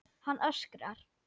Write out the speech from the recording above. Hann öskrar.